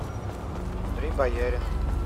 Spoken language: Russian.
андрей бояринов